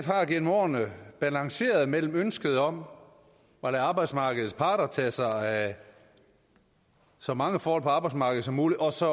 har gennem årene balanceret mellem ønsket om at lade arbejdsmarkedets parter tage sig af så mange forhold på arbejdsmarkedet som muligt og så